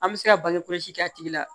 An bɛ se ka bange kɔlɔsi kɛ a tigi la